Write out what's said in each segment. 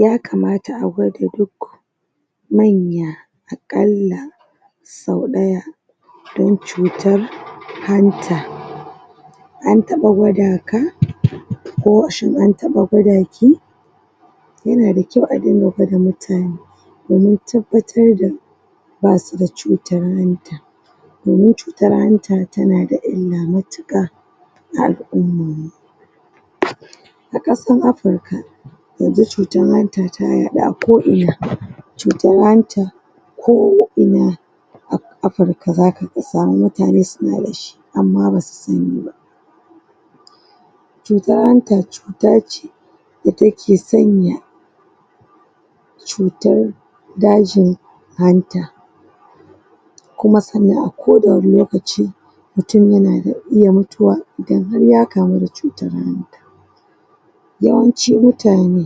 Yakamata agwada duk manya akalla sau ɗaya don cutar hanta antaɓa gwada ka? ko shin antaɓa gwadaki? yana da kyau a dunga gwada mutane domin tabbatar da basu da cutar hanta domiun cutar hanta tana da illa matuƙa ga al ummanmu aƙasan africa yanzu cutar hanta ta yaɗu ako ina cutar hanta ko ina a afirka zaka samu mutane sunada dashi amma basu saniba cutar hanta cutace da take sanya cutar dajin hanta kuma sannan a koda wane lokaci mutun yana da iya mutuwa idan har ya kamu da cutan hanta yawanci mutane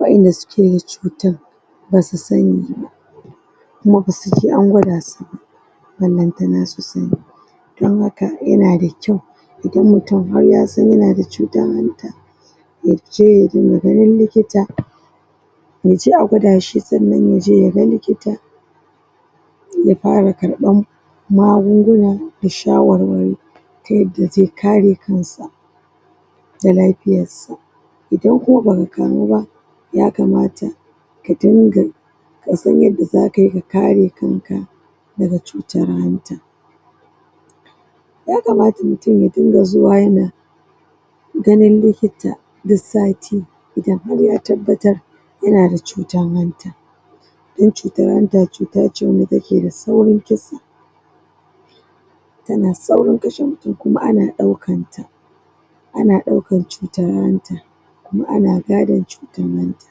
waƴanda suke da cutan basu saniba kuma basuje an gwadasu ba banlantana su sani don haka yanada kyau idan mutun har yasan yanada cutan hanta yaje yadinga ganin likita yaje a gwadashi sannan yaje yaga likita ya farakarɓan magunguna da sha warwari tayadda ze kare kansa da lafiyassa idan kuma baka kamuba yakamata kadunga kasan yanda zakayi ka kare kanka daga cutar hanta yakamata mutun ya dunga zuwa yana ganin likita duk sati idan har ya tabbatar yanada cutan hanta dan cutar hanta cutace wanda take da saurin kisa tanan saaurin kashe mutun kuma ana ɗaukanta ana ɗaukan cutar hanta kuma ana gadon cutan hanta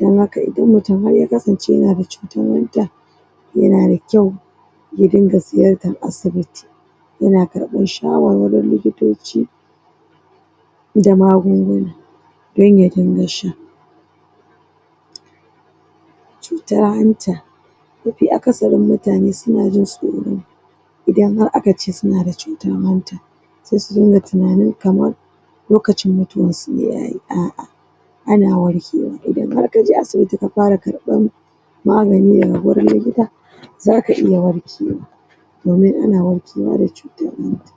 dan haka idan mutun har yakasance yanada ccutan hanta yana da kyau yadinga ziyartan asibiti yana karɓan shawarwarin likitoci da magunguna dan ya dinga sha cutan hanta mafi akasarin mutane suna jin tsoro idan har akace sunada cutar hanta se su dunga tinani kamar lokacin mutuwansu ne yayi a a ana warkewa idan har kaje asibiti ka fara karɓan magani daga gurin likita zaka iya warkewa domin ana warkewa da cutar hanta